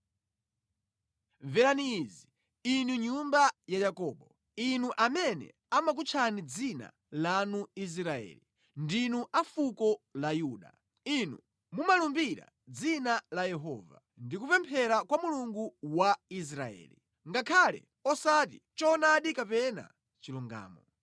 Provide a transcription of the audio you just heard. “Mverani izi, inu nyumba ya Yakobo, inu amene amakutchani dzina lanu Israeli, ndinu a fuko la Yuda, inu mumalumbira mʼdzina la Yehova, ndi kupemphera kwa Mulungu wa Israeli, ngakhale osati mʼchoonadi kapena mʼchilungamo.